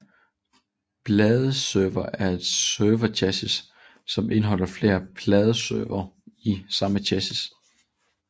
Bladeserver er et serverchassis som indeholder flere bladeservere i samme chassis